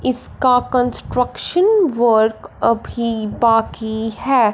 इसका construction work अभी बाकी है।